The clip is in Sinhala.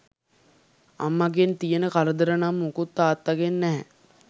අම්මගෙන් තියෙන කරදර නම් මුකුත් තාත්තාගෙන් නැහැ